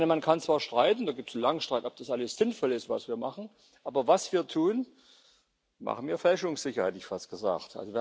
Man kann zwar streiten da gibt es langen Streit ob das alles sinnvoll ist, was wir machen, aber was wir tun, machen wir fälschungssicher, hätte ich fast gesagt.